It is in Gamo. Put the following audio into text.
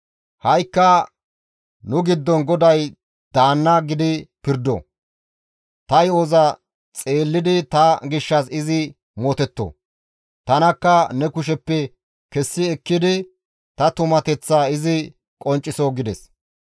Ha7ikka nu giddon GODAY daanna gidi pirdo. Ta yo7oza xeellidi ta gishshas izi mootetto. Tanakka ne kusheppe kessi ekkidi ta tumateththaa izi qoncciso» gides.